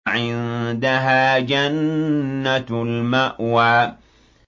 عِندَهَا جَنَّةُ الْمَأْوَىٰ